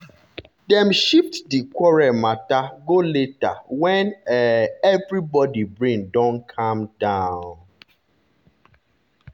dem shift di quarrel matter go later when um everybody brain don calm down.